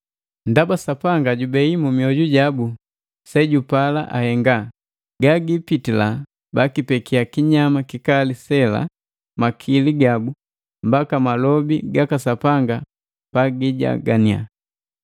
Ndaba Sapanga jubei mu mioju jabu sejupala ahenga, gagipitila bakipekiya kinyama kikali sela makili gabu mbaka malobi gaka Sapanga pagijaganinya.